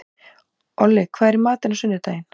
Olli, hvað er í matinn á sunnudaginn?